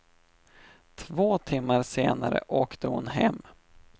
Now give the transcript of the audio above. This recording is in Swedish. Två timmar senare åkte hon hem.